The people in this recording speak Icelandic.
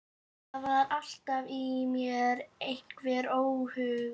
Það var alltaf í mér einhver óhugur.